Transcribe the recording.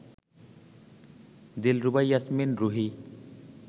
Dilruba Yasmin Ruhi